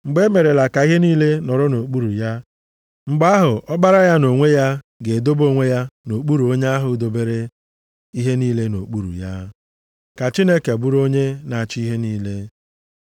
Mgbe e merela ka ihe niile nọrọ nʼokpuru ya, mgbe ahụ, Ọkpara ya nʼonwe ya, ga-edobe onwe ya nʼokpuru onye ahụ dobere ihe niile nʼokpuru ya, ka Chineke bụrụ onye na-achị ihe niile.